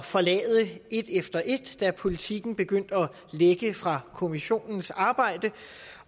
forlade et efter et da politiken begyndte at lække fra kommissionens arbejde